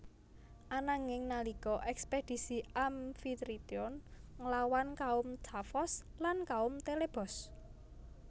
Ananging nalika ekspedisi Amfitrion nglawan kaum Tafos lan kaum Telebos